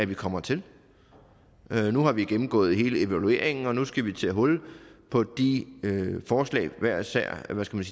vi kommer til nu har vi gennemgået hele evalueringen og nu skal vi tage hul på de forslag der hver især